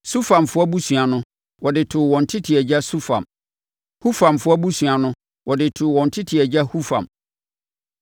Sufamfoɔ abusua no, wɔde too wɔn tete agya Sufam. Hufamfoɔ abusua no, wɔde too wɔn tete agya Hufam.